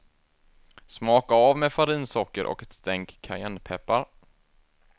Smaka av med farinsocker och ett stänk cayennepeppar.